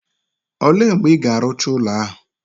O le mgbe Ị ga-arụcha ụlọ ahụ?